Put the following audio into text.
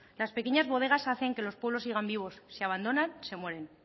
las pequeñas bodegas hacen que los pueblos sigan vivos si abandonan se mueren